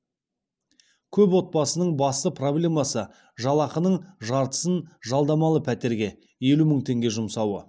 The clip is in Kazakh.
көп отбасының басты проблемасы жалақының жартысын жалдамалы пәтерге елу мың теңге жұмсауы